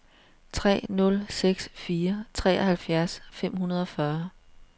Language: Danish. tre nul seks fire treoghalvfjerds fem hundrede og fyrre